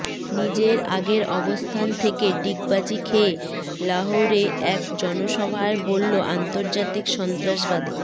নিজের আগের অবস্থান থেকে ডিগবাজি খেয়ে লাহৌরে এক জনসভায় বলল আন্তর্জাতিক সন্ত্রাসবাদী